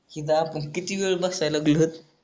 तिथ आपण किती वेळ बसाय लागलोत